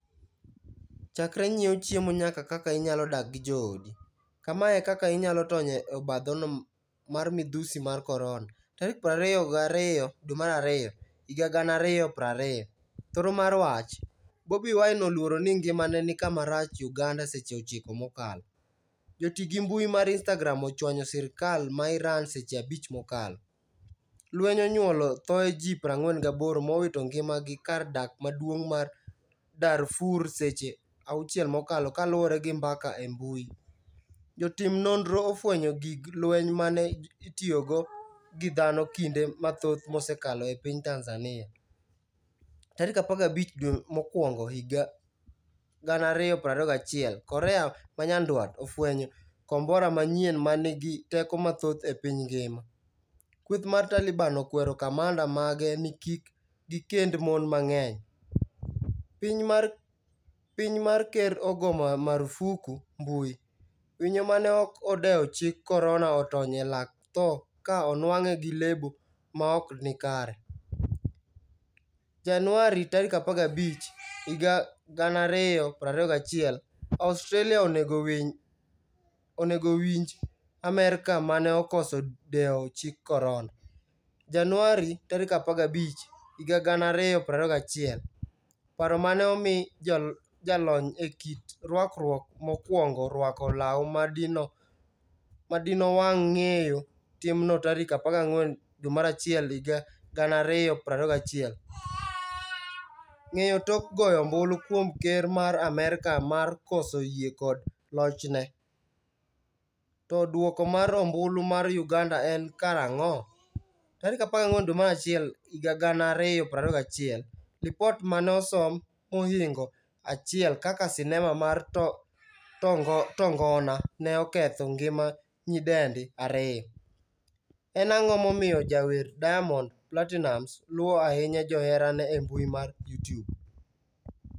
Chakre nyiew chiemo nyaka kaka inyalo dak gi jo odi, Kamae e kaka inyalo tony e obadhono mar midhusi mar korona. 22 Februari 2020. Thoro mar wach: Bobi Wine oluoro ni ngimane ni kama rach' Uganda Seche 9 mokalo. Joti gi mbui mar Instagram ochwanyo sirkal ma Iran seche 5 mokalo. Lweny onyuolo thoe ji 48 mowito ngima gi kar dak maduong' ma Darfur Seche 6 mokalo kaluore gi mbaka e mbui. Jotim nonro ofwenyo gig lweny mane itiyogo gi dhano kinde mathoth mosekalo e piny Tanzania. Tarik 15 dwe mokwongo higa 2021 korea manyandwat ofwenyo kombora manyien manigi teko mathoth e piny ngima. Kweth mar Taliban okwero kamanda mage ni kik gikend mon mang'eny. Piny ma ker ogo marufuku mbui. Winyo mane ok odewo chik korona otony e lak tho ka onwang'e gi lebo maokni kare. Januari 15, 2021, Australia onego winj Amerka mane okoso dewo chik korona. Januari 15, 2021, Paro mane omiyo jalony e kit rwakruok mokwongo rwako law madino wang' weyo timno tarik 14 Januari 2021. Ng'eyo tok goyo ombulu kuom ker ma Amerka mar koso yie kod lochne? To duoko mar ombulu mar Uganda en karang'o? 14 Januari 2021, Lipot mane osom mohingo 1 kaka sinema mar tongona ne oketho ngima nyidendi 2. En ang'o momiyo jawer Diamond Platinumz luwo ahinya joherane embui mar Youtube?